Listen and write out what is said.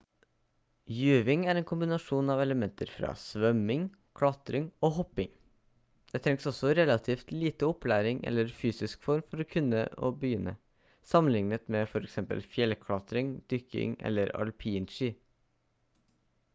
juving er en kombinasjon av elementer fra svømming klatring og hopping – det trengs også relativt lite opplæring eller fysisk form for å kunne begynne sammenlignet med f.eks. fjellklatring dykking eller alpinski